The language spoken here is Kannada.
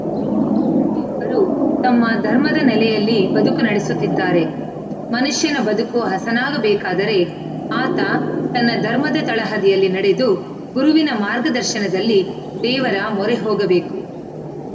ರೂ ತಮ್ಮ ಧರ್ಮದ ನೆಲೆಯಲ್ಲಿ ಬದುಕು ನಡೆಸುತ್ತಿದ್ದಾರೆ ಮನುಷ್ಯನ ಬದುಕು ಹಸನಾಗಬೇಕಾದರೆ ಆತ ತನ್ನ ಧರ್ಮದ ತಳಹದಿಯಲ್ಲಿ ನಡೆದು ಗುರುವಿನ ಮಾರ್ಗದರ್ಶನದಲ್ಲಿ ದೇವರ ಮೊರೆ ಹೋಗಬೇಕು